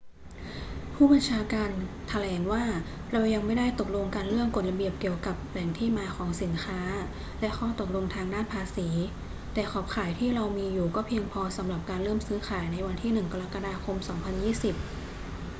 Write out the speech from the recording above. ผู้บัญชาการแถลงว่า เรายังไม่ได้ตกลงกันเรื่องกฎระเบียบเกี่ยวกับแหล่งที่มาของสินค้าและข้อตกลงทางด้านภาษี แต่ขอบข่ายที่เรามีอยู่ก็เพียงพอสำหรับการเริ่มซื้อขายในวันที่ 1 กรกฎาคม 2020